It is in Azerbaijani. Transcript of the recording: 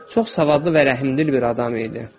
Çox savadlı və rəhimdil bir adam idi.